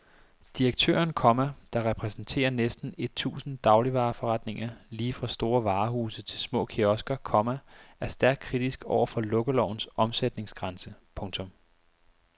Direktøren, komma der repræsenterer næsten et tusind dagligvareforretninger lige fra store varehuse til små kiosker, komma er stærkt kritisk over for lukkelovens omsætningsgrænse. punktum